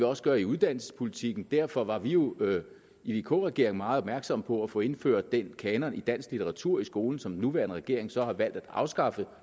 også gøre i uddannelsespolitikken og derfor var vi jo i vk regeringen meget opmærksomme på at få indført den kanon i dansk litteratur i skolen som den nuværende regering så har valgt at afskaffe